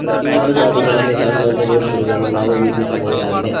ಪ್ರತಿ ಒಂದು ಗಾಡಿಗಳನ್ನು ಸಾಲಿನಂತೆ ಜೋಡಿಸಿರುವುದನ್ನು ನಾವು ವೀಕ್ಷಿಸಬಹುದಾಗಿದೆ.